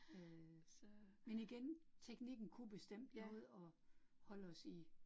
Øh men igen, teknikken kunne bestemt noget, og holde os i